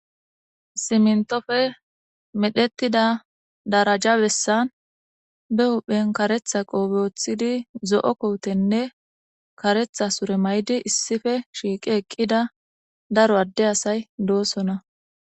Simintoppe medhetida dareja bessan be huphphen kareththa kopiya woththidi zo"o kotenne kareththa sure mayidi issipe shiq eqida daro ade asay dossona